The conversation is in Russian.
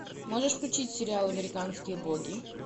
можешь включить сериал американские боги